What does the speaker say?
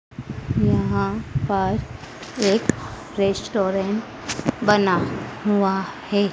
यहां पर एक रेस्टोरेंट बना हुआ है।